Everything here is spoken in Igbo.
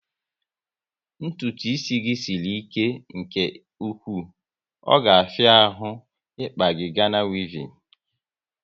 Ntụtụ isi gị sịrị ike nke ụkwụ, ọ ga afia ahụ ikpa gị Gana wevin